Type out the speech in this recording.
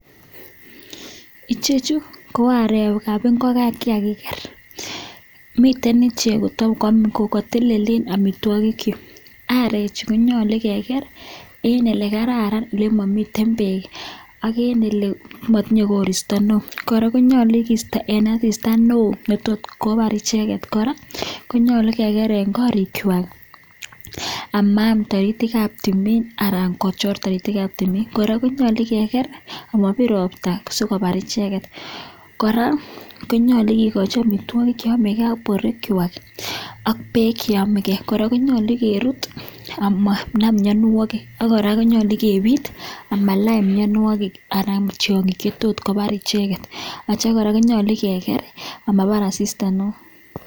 Ichechuu ko areek ap ingokeen che kakikar miteii icheek kotelele amitwagii chuuu arechuu konyaluu kekar eng o;lekararan olemamiteii peeek kora konyaluu kekarchii olimamitei peeek ako kora konyaluuu kerutchii kericheek asdikoonda mianwagiik chechanmng chemitei emeeet kotukul